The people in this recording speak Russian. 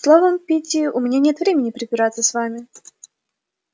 словом питти у меня нет времени препираться с вами